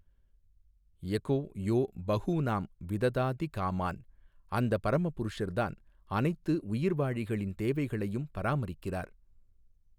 எகொ யொ பஹூநாம் விததாதி காமான் அந்த பரமபுருஷர் தான் அனைத்து உயிர்வாழிகளின் தேவைகளையும் பராமரிக்கிறார்.